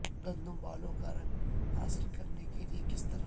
گندم بالوں کا رنگ حاصل کرنے کے لئے کس طرح